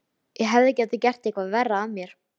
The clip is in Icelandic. Ég hefði getað gert eitthvað verra af mér.